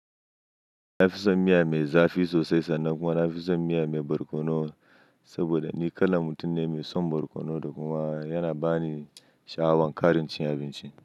Na fi son miya mai zafi sosai sannan kuma na fi son miya mai barkono saboda ni kalan mutum ne mai son barkono da kuma yana ba ni sha'awan ƙarin cin abinci.